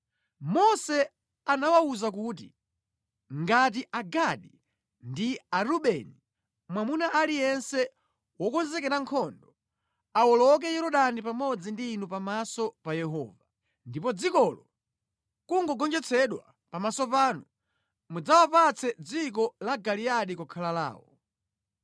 Mose anawawuza kuti, ngati Agadi ndi Arubeni, mwamuna aliyense wokonzekera nkhondo, awoloka Yorodani pamodzi ndi inu pamaso pa Yehova, ndipo dzikolo nʼkugonjetsedwa pamaso panu, mudzawapatse dziko la Giliyadi kukhala lawo.